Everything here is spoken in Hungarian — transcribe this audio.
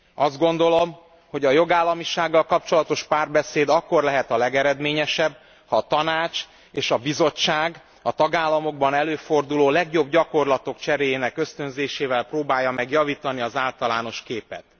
Azt gondolom, hogy a jogállamisággal kapcsolatos párbeszéd akkor lehet a legeredményesebb, ha a Tanács és a Bizottság a tagállamokban előforduló legjobb gyakorlatok cseréjének ösztönzésével próbálja meg javítani az általános képet.